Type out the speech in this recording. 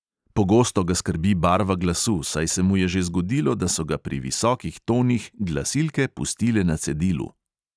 Pogosto ga skrbi barva glasu, saj se mu je že zgodilo, da so ga pri visokih tonih glasilke pustile na cedilu.